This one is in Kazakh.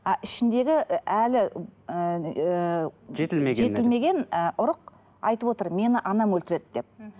а ішіндегі і әлі ііі жетілмеген жетілмеген і ұрық айтып отыр мені анам өлтіреді деп мхм